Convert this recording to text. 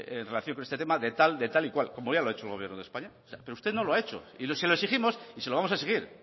en relación con este tema de tal de tal y cual como ya lo ha hecho el gobierno de españa pero usted no lo ha hecho y se lo exigimos y se lo vamos a exigir